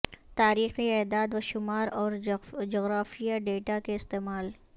تاریخی اعداد و شمار اور جغرافیائی ڈیٹا کے استعمال